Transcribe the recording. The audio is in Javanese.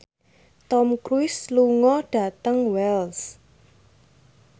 Tom Cruise lunga dhateng Wells